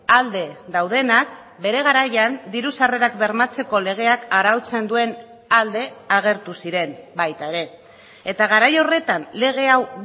alde daudenak bere garaian diru sarrerak bermatzeko legeak arautzen duen alde agertu ziren baita ere eta garai horretan lege hau